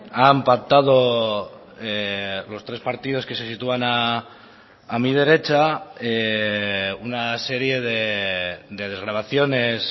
han pactado los tres partidos que se sitúan a mi derecha una serie de desgravaciones